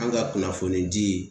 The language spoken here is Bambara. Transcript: An ga kunnafoni di